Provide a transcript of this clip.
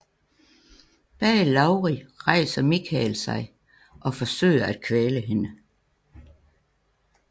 Bag Laurie rejser Michael sig og forsøger at kvæle hende